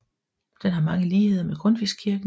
Den har mange ligheder med Grundtvigskirken